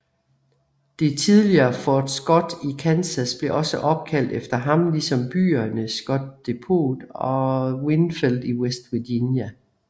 Det tidligere Fort Scott i Kansas blev også opkaldt efter ham ligesom byerne Scott Depot og Winfield i West Virginia